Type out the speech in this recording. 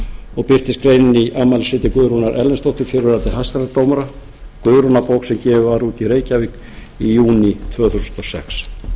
og birtist greinin í afmælisriti guðrúnar erlendsdóttur fyrrverandi hæstaréttardómara guðrúnarbók sem gefin var út í reykjavík í júní tvö þúsund og sex